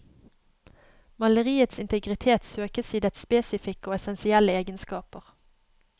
Maleriets integritet søkes i dets spesifikke og essensielle egenskaper.